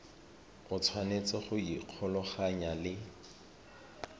o tshwanetse go ikgolaganya le